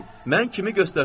Mən kimi göstərsəm?